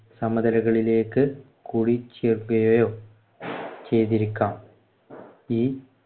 ഈ സമതലകളിലേക്ക് കൂടിച്ചേർക്കുകയോ ചെയ്‌തിരിക്കാം ഈ